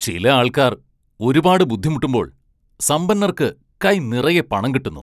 ചില ആൾക്കാർ ഒരുപാട് ബുദ്ധിമുട്ടുമ്പോൾ സമ്പന്നർക്ക് കൈ നിറയെ പണം കിട്ടുന്നു.